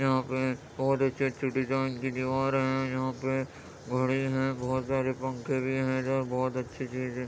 यहाँ पे बोहोत अच्छे-अच्छे डिजाइन की दीवारें है यहाँ पे घड़ी है बोहोत सारे पंखे भी हैं इधर बोहोत अच्छी चीज़ें --